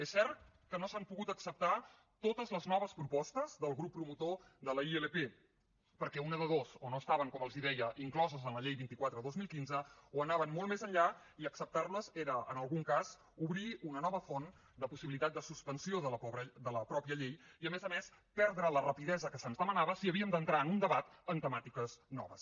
és cert que no s’han pogut acceptar totes les noves propostes del grup promotor de la ilp perquè una de dues o no estaven com els deia incloses en la llei vint quatre dos mil quinze o anaven molt més enllà i acceptar les era en algun cas obrir una nova font de possibilitat de suspensió de la mateixa llei i a més a més perdre la rapidesa que se’ns demanava si havíem d’entrar en un debat amb temàtiques noves